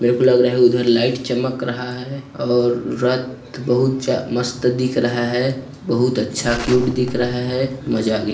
मरे को लग रहे उधर लाइट चमक रहा है और रथ बहुत ज्या मस्त दिख रहा है बहुत अच्छा क्यूट दिख रहा है मजा आ गया।